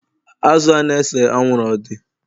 Azụ a na-ese anwụrụ ọ dị?